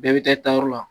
Bɛɛ bɛ taa tayɔrɔ la